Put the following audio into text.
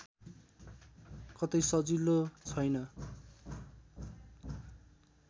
कतै सजिलो छैन्